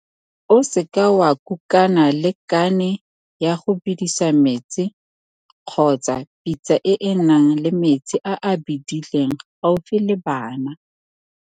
O seke wa kukana le kane ya go bedisa metsi kgotsa pitsa e e nang le metsi a a bedileng gaufi le bana.